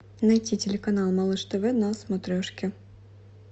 найти телеканал малыш тв на смотрешке